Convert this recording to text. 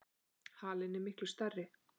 Halinn er miklu stærri.